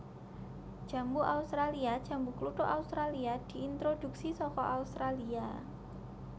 Jambu australia Jambu kluthuk Australia diintroduksi saka Australia